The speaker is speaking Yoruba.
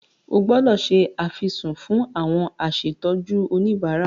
O gbúdọ̀ se àfisùn fún àwọn asètọ́jú oníbárà.